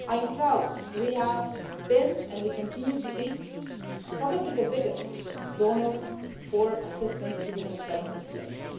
I'm proud we have been, and we continue to be, probably the biggest donor for assistance to the Venezuelan population.